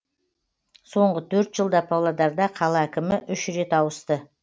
соңғы төрт жылда павлодарда қала әкімі үш рет ауысты